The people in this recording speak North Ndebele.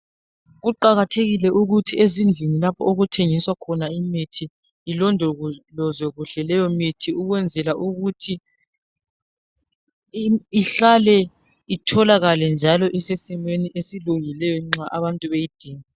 Kuqakathekile ukuthi ezindlini lapho okuthengiswa khona imithi ilondolozwe kuhle leyomithi ukwenzela ukuthi itholakale njalo isesimweni esilungileyo nxa abantu beyidinga.